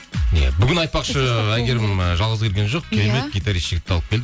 иә бүгін айтпақшы әйгерім ы жалғыз келген жоқ гитарист жігітті алып келді